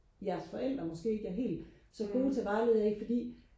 jeres forældre måske ikke er helt så gode til at vejlede jer i fordi